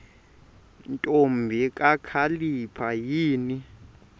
ntombi kakhalipha yini